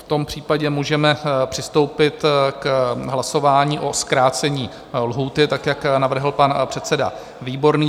V tom případě můžeme přistoupit k hlasování o zkrácení lhůty tak, jak navrhl pan předseda Výborný.